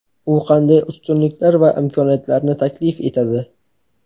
U qanday ustunliklar va imkoniyatlarni taklif etadi?